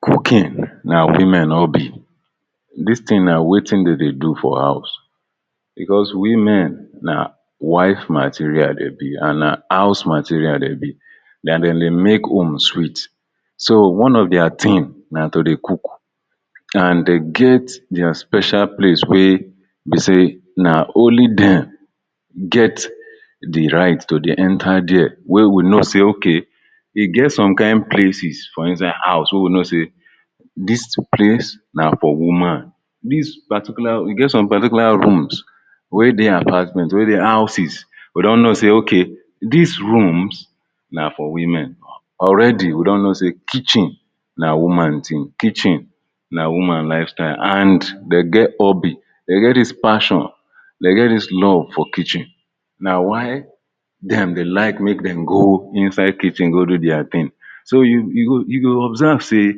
Cooking na women hobby. Dis thing na wetin dem dey do for house bebcause women na wife material dey be and na house material dey be. Na dem dey make home sweet. So one of their thing na to dey cook and dey get their special place wey dey say na only dem get the right to dey enter there wey we know say ok e get some kaiin places for inside house wey we know say this palce na for woman. Dis particular e get some particular rooms wey dey apartment wey dey houses we don know say, ok dis rooms na for women. Already we don know say kitchen na woman thing, kitchen na woman lifestyle and dey get hobby, dey get dis passion, dey get dis love for kitchen, na why dem dey like make dem go inside kitchen go do their thing. So you go you go observe say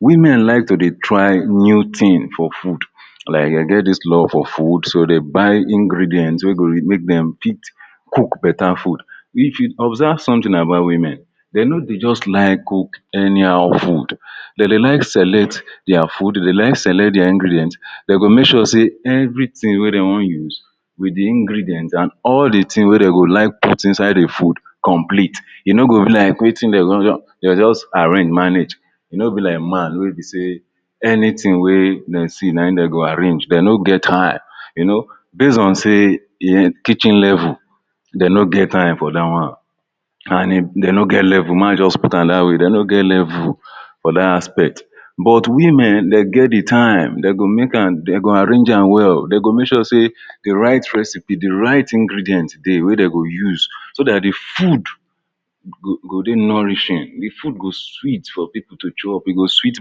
women like to dey try new thing for food, like dey get dis love for food so dey buy ingredients wey go make dem fit cook better food. If you observe something about women, dey no dey just like cook anyhow food. Dey dey like select their food, dey dey like select their ingredients. Dem go make sure say everything wey dem wan use wit the ingredients and all the thing wey dem go like put inside the food complete. E no go be like wetin dem? dey just arrange manage. E no be like man wey be say anything wey dem see na im dem go arrange. Dem no get time you know, base on say im kitchen level. Dey no get time for dat one and dey no get level, make I just put am dat way. Dey no get level for dat aspect. but women dey get the time, dey go make am and dem go arrange am well. Dey go make sure say the right recipe, the right ingredients dey wey dem go use so dat the food? go dey nourishing, the food go sweet for people to chop, e go sweet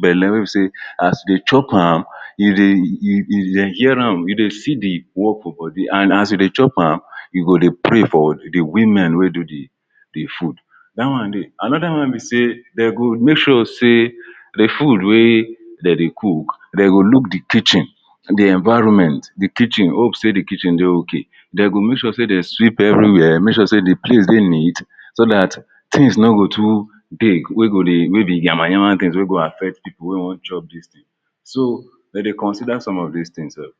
belle wey be say as you dey chop am? dey hear e dey see the work for body and as you dey chop am you go dey pray for the women wey do the the food dat one dey. Another one be say dem go make sure say the food wey dem dey cook, dey go look the kitchen, the environment, the kitchen, hope say the kitchen dey okay. Dey go make sure say dey sweep everywhere, make sure say the place dey neat so dat things no go too dey wey go dey wey be nyamanyama things wey go affect people wey wan chop dis thing. So, dem dey consider some dis things sef.